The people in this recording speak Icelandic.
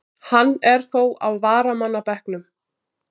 Hann er þó á varamannabekknum.